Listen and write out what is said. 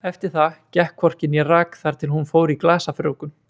Eftir það gekk hvorki né rak þar til hún fór í glasafrjóvgun.